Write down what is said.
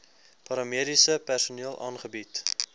paramediese personeel aangebied